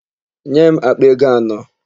Nye m àkpà ego anọ!